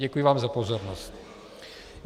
Děkuji vám za pozornost.